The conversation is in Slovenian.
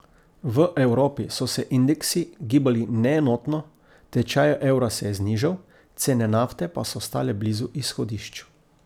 V Evropi so se indeksi gibali neenotno, tečaj evra se je znižal, cene nafte pa so ostale blizu izhodišč.